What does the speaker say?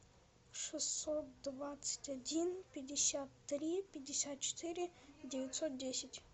шестьсот двадцать один пятьдесят три пятьдесят четыре девятьсот десять